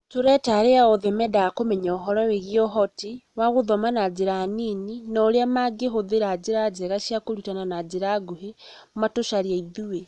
Tũreta arĩa othe mendaga kũmenya ũhoro wĩgiĩ ũhoti wa gũthoma na njĩra nini na ũrĩa mangĩhũthĩra njĩra njega cia kũrutana na njĩra nguhĩ matũcarie ithuĩ